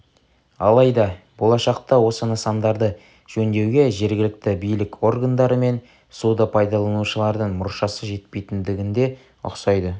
алайда болашақта осы нысандарды жөндеуге жергілікті билік органдары мен суды пайдаланушылардың мұршасы жетпейтіндінге ұқсайды